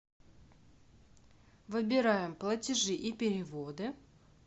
выбираем платежи и переводы